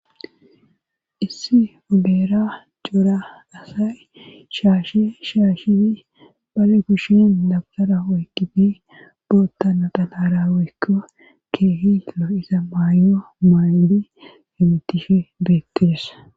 issi ogera jora asay shaasheshaashefi bale kushin dabgara oygidi bootta natanaraweekko keehilo isa maayo maaydi hemitishe beettires